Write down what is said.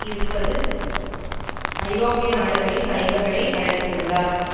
இருபது ஐரோப்பிய நாடுகளின் தலைவர்களை அழைத்திருந்தார்